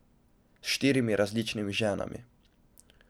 S štirimi različnimi ženami.